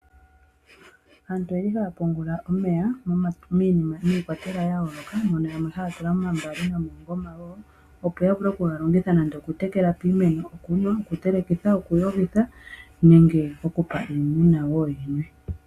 Aantu oye li haa pungula omeya miikwatelwa ya yooloka, mono yamwe haa tula momambaali nomoongoma woo. Opo ya vule oku ga longitha nande oku tekela iimeno, okunwa, oku telekitha, oku yogitha nenge oku pa iimuna woo yi nwe.